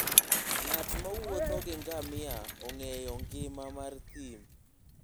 Ng'at mowuotho gi ngamia ong'eyo ngima mar thim.